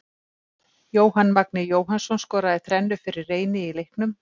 Jóhann Magni Jóhannsson skoraði þrennu fyrir Reyni í leiknum.